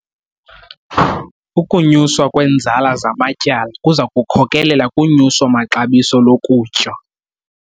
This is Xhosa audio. Ukunyuswa kweenzala zamatyala kuza kukhokelela kunyuso-maxabiso lokutya.